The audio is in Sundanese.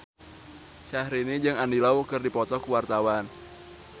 Syahrini jeung Andy Lau keur dipoto ku wartawan